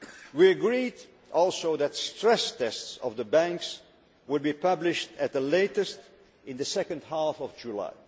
We also agreed that stress tests of the banks would be published at the latest in the second half of July.